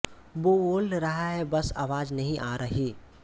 वो बोल रहा है बस आवाज़ नहीं आ रही